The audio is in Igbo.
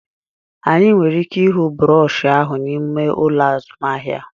Anyị nwere ike ịhụ broshuọ ahụ n'ime ụlọ azụmahịa